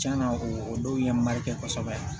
Cɛn na o dɔw ye malikɛ kosɛbɛ